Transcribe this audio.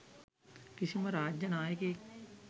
කිසිම රාජ්‍ය නායකයෙක්